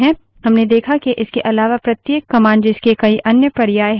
हमने देखा के इसके अलावा प्रत्येक commands जिसके कई अन्य पर्याय options है